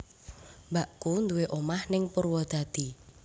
Mbakku nduwe omah ning Purwodadi